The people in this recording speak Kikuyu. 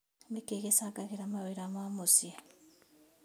Nĩkĩĩ gĩcangagĩra mawĩra ma mũciĩ